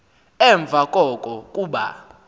emva koko kuba